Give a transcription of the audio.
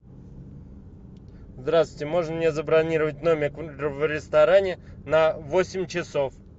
здравствуйте можно мне забронировать номер в ресторане на восемь часов